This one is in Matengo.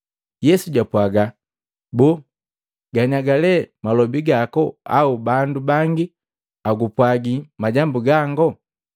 Yesu japwaaga, “Boo, ganiaga le malobi gaku au bandu bangi agupwagi majambu gango?”